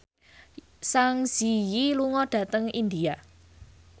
Zang Zi Yi lunga dhateng India